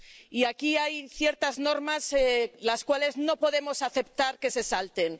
Y aquí hay ciertas normas, las cuales no podemos aceptar que se salten.